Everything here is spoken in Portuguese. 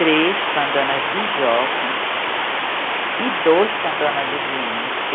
Três com a dona Bijoca e dois com a dona Duvina.